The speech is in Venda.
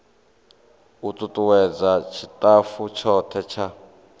u tutuwedza tshitafu tshothe tsha